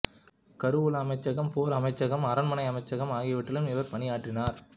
கருவூல அமைச்சகம் போர் அமைச்சகம் அரண்மனை அமைச்சகம் ஆகியவற்றிலும் இவர் பணியாற்றினார்